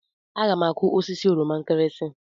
Aga m akụ osisi oroma nkirinsi.